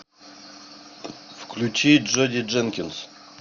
включи джоди дженкинс